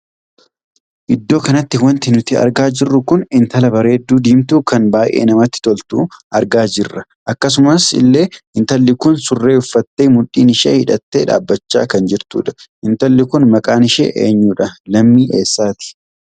Iddoo kanatti wanti nuti argaa jiruu kun intala bareedduu diimtuu kan baay'ee namatti toltu argaa jirru. akkasuma illee intalli Kun surree uffattee mudhiin ishee hidhattee dhaabbachaa kan jirtudha. intalli kun maqaan ishee eenyudha? lammii eessaati?